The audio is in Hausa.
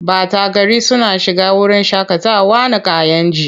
Ɓata gari suna shiga wurin shaƙatawa na Kayenji.